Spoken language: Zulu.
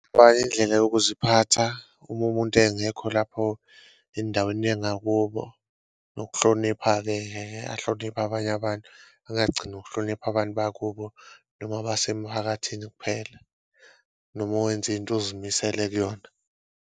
Indlela yokuziphatha uma umuntu engekho lapho endaweni yangakubo, nokuhlonipha-keke ahloniphe abanye abantu angagcini ngokuhlonipha abantu bakubo noma abasemphakathini kuphela, noma uwenze into ozimisele kuyona.